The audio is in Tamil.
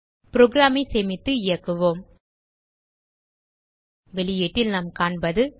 புரோகிராம் ஐ சேமித்து இயக்குவோம் வெளியீட்டில் நாம் காண்பது